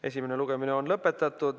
Esimene lugemine on lõpetatud.